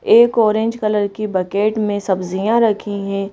एक orange colour की bucket में सब्जियां रखी हैं।